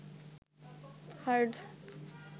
heart